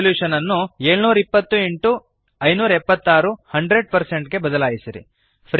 resolution ಅನ್ನು 720 x 576 100 ಗೆ ಬದಲಾಯಿಸಿರಿ